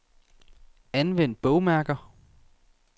Anvend bogmærker.